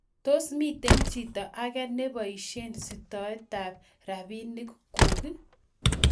Tos, miten chito age nebaishen sitoitab robinik negung?